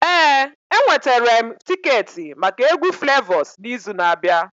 Ee, enwetara m tiketi maka egwu Flavors n'izu na-abịa